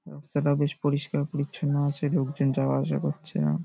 রাস্তাটা বেশ পরিষ্কার পরিছন্ন আছে লোকজন যাওয়া আসা করছে এরম --